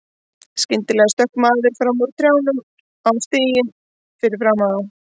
Skyndilega stökk maður fram úr trjánum á stíginn fyrir framan þá.